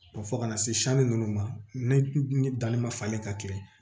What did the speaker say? Fɔ ka na se sanni nunnu ma ne danni ma falen ka kɛ